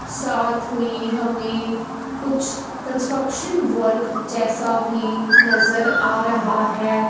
साथ में हमें कुछ कंस्ट्रक्शन वर्क जैसा भी नजर आ रहा है।